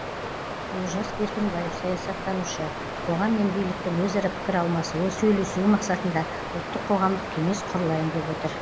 олжас беркінбаев саясаттанушы қоғам мен биліктің өзара пікір алмасуы сөйлесуі мақсатында ұлттық қоғамдық кеңес құрылайын деп отыр